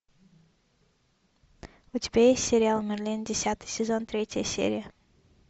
у тебя есть сериал мерлин десятый сезон третья серия